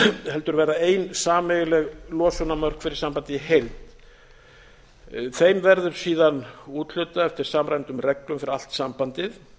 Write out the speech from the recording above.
heldur verða ein sameiginleg losunarmörk fyrir sambandið í heild þeim verður síðan úthlutað eftir samræmdum reglum fyrir allt sambandið